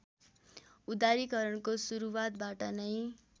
उदारीकरणको सुरूवातबाट नै